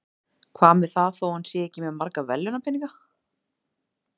Hvað með það þó hann sé ekki með marga verðlaunapeninga?